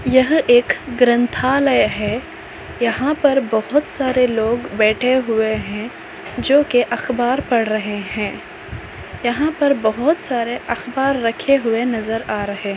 यह एक ग्रंथालय है यहां पर बहुत सारे लोग बैठे हुए हैं जो की अखबार पढ़ रहे हैं यहां पर बहुत सारे अखबार रखे हुए नजर आ रहे--